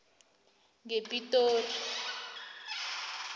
ngepitori